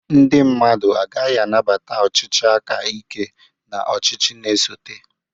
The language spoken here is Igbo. Ndị mmadụ agaghị anabata ọchịchị aka ike n'ọchịchị na-esote